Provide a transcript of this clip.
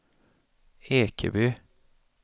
Ekeby